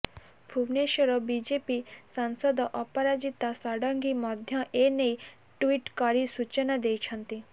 Bhubaneswar BJP ସାଂସଦ ଅପରାଜିତ ଷଡ଼ଙ୍ଗୀ ମଧ୍ୟ ଏନେଇ ଟ୍ୱିଟ୍ କରି ସୂଚନା ଦେଇଛନ୍ତି